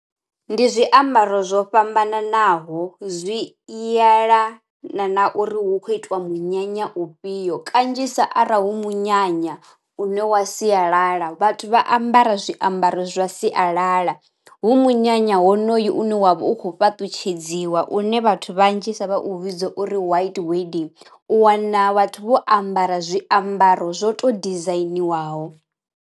Ndi zwiambaro zwo fhambananaho zwi yelana na uri hu kho itiwa munyanya u fhio, kanzhisa arali hu munyanya une wa sialala vhathu vha ambara zwiambaro zwa sialala. Hu munyanya honoyo une wavha u kho fhaṱutshedziwa une vhathu vhanzhisa vha u vhidza uri white wedding u wana vhathu vho ambara zwiambaro zwo to dizainiwaho.